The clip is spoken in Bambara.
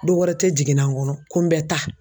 Do wɛrɛ tE jiginna n kɔnɔ ko n bɛ taa